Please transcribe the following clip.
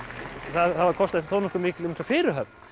það kostaði þó nokkuð mikla fyrirhöfn